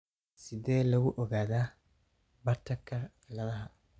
Sidee lagu ogaadaa Bartterka ciladaha?